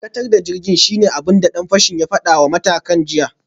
Dakatar da jirgin, shine abin da dan fashin ya fada wa matukin jirgin jiya